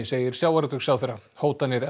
segir sjávarútvegsráðherra hótanir